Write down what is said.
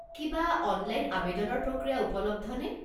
কিবা অনলাইন আৱেদনৰ প্ৰক্ৰিয়া উপলব্ধনে?